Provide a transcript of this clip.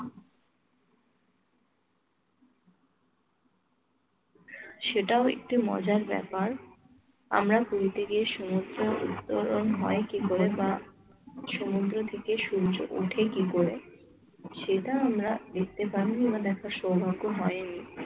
সেটাও একটু মজার ব্যাপার আমরা পুরিতে গিয়ে সমুদ্র উত্তরণ হয় কি করে বা সমুদ্র থেকে সূর্য ওঠে কি করে? সেটা আমরা দেখতে পাইনি বা দেখার সৌভাগ্য হয়নি।